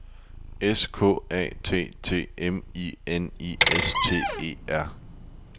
S K A T T E M I N I S T E R